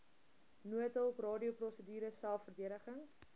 noodhulp radioprosedure selfverdediging